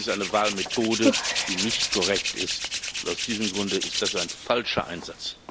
Das ist eine Wahlmethode, die nicht korrekt ist, und aus diesem Grunde ist das ein falscher Einsatz.